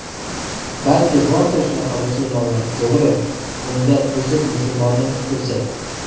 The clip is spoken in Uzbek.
Balki bordir shunaqa musulmonlar, to‘g‘ri, unda buzuq musulmonni ko‘rsat?!